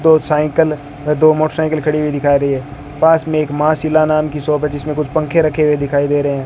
दो साइकिल अह दो मोटरसाइकिल खड़ी हुई दिखा रही है पास में एक मां शीला नाम की शॉप है जिसमें कुछ पंखे रखे हुए दिखाई दे रहे हैं।